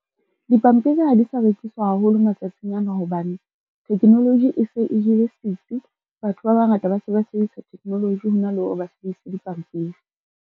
Dipampiri ha di sa rekiswa haholo matsatsing ana hobane, technology e se e jele setsi. Batho ba bangata ba se ba sebedisa technology hona le hore ba sebedise dipampiri.